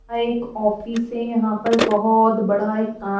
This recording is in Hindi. यहाँ एक ऑफिस है यहाँ पर बहोोत बड़ा एक का --